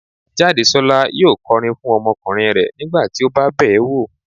Jádesọ́lá yóò kọrin fún ọmọkùnrin rẹ̀ nígbà tí ó bá bẹ̀ẹ́ wo